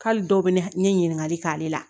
K'ale dɔw bɛ ne ɲininkali k'ale la